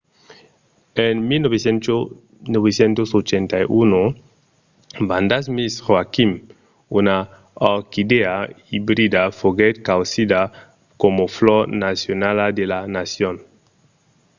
en 1981 vanda miss joaquim una orquidèa ibrida foguèt causida coma flor nacionala de la nacion